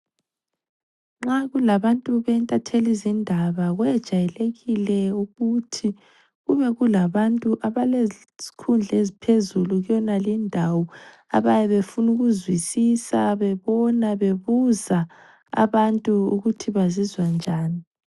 Nxa kulabantu bentathelizindaba kuyejayelekile ukuthi kube kulabantu abalezikhundla eziphezulu kuyenaleyo indawo abayebebefuna ukuzwisisa, bebona bebuza abantu ukuthi bazizwa njani.